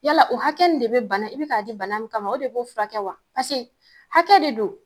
Yala o hakɛ nin de be bana e be k'a di bana min kama o de b'o furakɛ wa paseke hakɛ de don